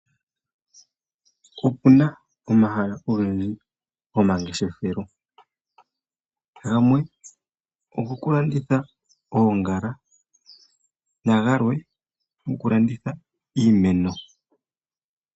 Okuna omahala ogendji go mangeshefelo, gamwe ogo ku landitha oongala nagalwe goku landitha iimeno.